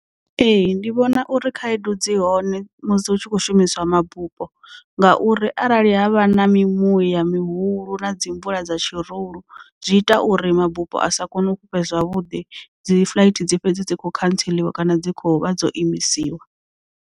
Ee ndi vhona uri khaedu dzi hone musi hu tshi khou shumiswa mabupo ngauri arali havha na mimuya mihulu na dzi mvula dza tshirulu zwi ita uri mabupo a sa kone uto fhufha zwavhuḓi dzi flight dzi fhedze dzi kho khantseliwa kana dzi khou vha dzo imisiwa.